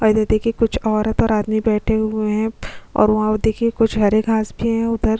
और ये देखिए कुछ औरत और आदमी बैठे हुए हैं और वहाँ पर देखिए कुछ हरे घास भी हैं उधर--